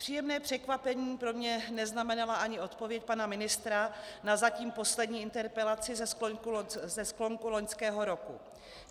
Příjemné překvapení pro mne neznamenala ani odpověď pana ministra na zatím poslední interpelaci ze sklonku loňského roku.